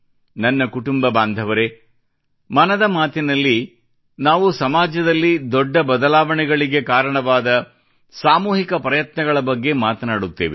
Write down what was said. ನನ್ನ ಕುಟುಂಬ ಬಾಂಧವರೇ ಮನದ ಮಾತಿನಲ್ಲಿ ನಾವು ಸಮಾಜದಲ್ಲಿ ದೊಡ್ಡ ಬದಲಾವಣೆಗಳಿಗೆ ಕಾರಣವಾದ ಸಾಮೂಹಿಕ ಪ್ರಯತ್ನಗಳ ಬಗ್ಗೆ ಮಾತನಾಡುತ್ತೇವೆ